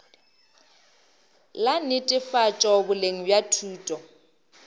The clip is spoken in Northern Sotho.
la netefatšo boleng bja thuto